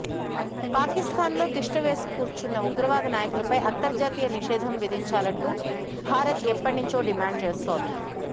పాకిస్థాన్ లో తిష్టవేసుక్కూర్చున్న ఉగ్రవాద నాయకులపై అంతర్జాతీయ నిషేధం విధించాలంటూ భారత్ ఎప్పట్నించో డిమాండ్ చేస్తోంది